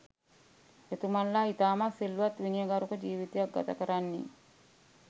එතුමන්ලා ඉතාමත් සිල්වත් විනයගරුක ජීවිතයක් ගතකරන්නේ